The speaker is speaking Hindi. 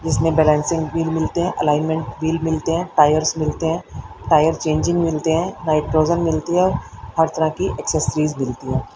इसमें बैलेंसिंग व्हील मिलते हैं एलायमेंट व्हील मिलते हैं टायर्स मिलते हैं टायर चेंजिंग मिलते हैं नाइट्रोजन मिलती हैं हर तरह की एक्सेसरी मिलती है।